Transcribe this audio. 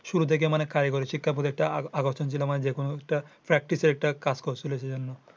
শুরু থেকে মানে কারিগরি শিক্ষা practice একটা কাজ করছিলো সে জন্য।